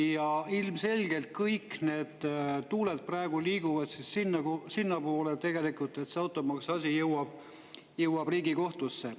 Ja ilmselgelt kõik tuuled liiguvad praegu sinnapoole, et tegelikult see automaksuasi jõuab Riigikohtusse.